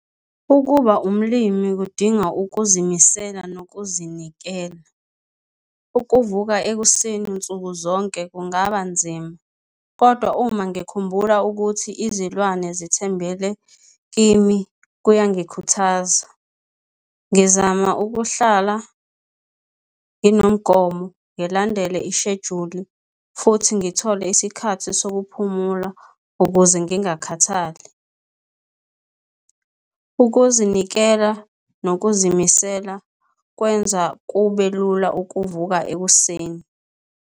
Ukuba umlimi kudinga ukuzimisela nokuzinikela. Ukuvuka ekuseni nsuku zonke kungaba nzima, kodwa uma ngikhumbula ukuthi izilwane zithembele kimi kuyangikhuthaza. Ngizama ukuhlala nginomgomo, ngilandele ishejuli futhi ngithole isikhathi sokuphumula ukuze ngingakhathali. Ukuzinikela nokuzimisela kwenza kube lula ukuvuka ekuseni.